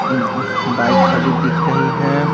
एक उह् बाइक खड़ी दिख रही है।